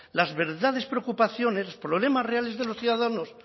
las verdaderas preocupaciones los problemas reales de los ciudadanos